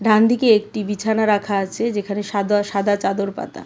ডান দিকে একটি বিছানা রাখা আছে যেখানে সাদোয়া-সাদা চাদর পাতা .